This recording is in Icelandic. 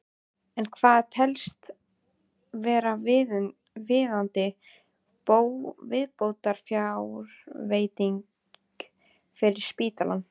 En hvað telst vera viðunandi viðbótarfjárveiting fyrir spítalann?